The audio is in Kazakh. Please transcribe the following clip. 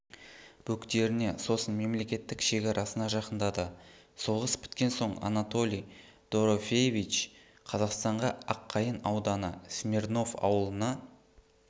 бөктеріне сосын мемлекеттік шекарасына жақындады соғыс біткен соң анатолий дорофеевич қазақстанға аққайын ауданы смирнов ауылына